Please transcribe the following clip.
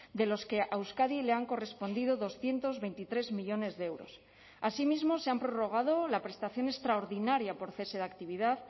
de los que a euskadi le han correspondido doscientos veintitrés millónes de euros asimismo se han prorrogado la prestación extraordinaria por cese de actividad